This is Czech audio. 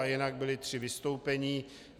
A jinak byla tři vystoupení.